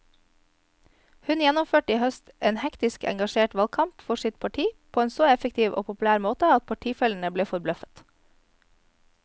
Hun gjennomførte i høst en hektisk og engasjert valgkamp for sitt parti på en så effektiv og populær måte at partifellene ble forbløffet.